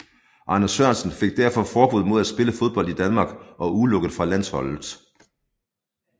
Arne Sørensen fik derfor forbud mod at spille fodbold i Danmark og udelukket fra landsholdet